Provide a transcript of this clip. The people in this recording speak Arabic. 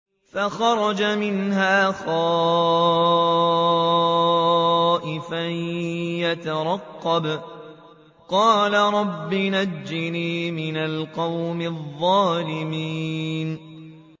فَخَرَجَ مِنْهَا خَائِفًا يَتَرَقَّبُ ۖ قَالَ رَبِّ نَجِّنِي مِنَ الْقَوْمِ الظَّالِمِينَ